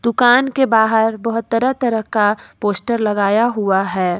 कान के बाहर बहोत तरह तरह का पोस्टर लगाया हुआ है।